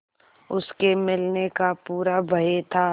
उसके मिलने का पूरा भय था